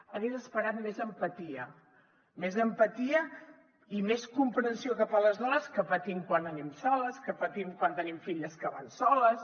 hagués esperat més empatia més empatia i més comprensió cap a les dones que patim quan anem soles que patim quan tenim filles que van soles